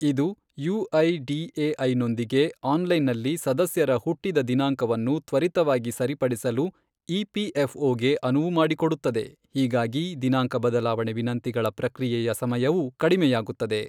ಇದು ಯುಐಡಿಎಐನೊಂದಿಗೆ ಆನ್ಲೈನ್ನಲ್ಲಿ ಸದಸ್ಯರ ಹುಟ್ಟಿದ ದಿನಾಂಕವನ್ನು ತ್ವರಿತವಾಗಿ ಸರಿಪಡಿಸಲು ಇಪಿಎಫ್ಒಗೆ ಅನುವು ಮಾಡಿಕೊಡುತ್ತದೆ, ಹೀಗಾಗಿ ದಿನಾಂಕ ಬದಲಾವಣೆ ವಿನಂತಿಗಳ ಪ್ರಕ್ರಿಯೆಯ ಸಮಯವೂ ಕಡಿಮೆಯಾಗುತ್ತದೆ.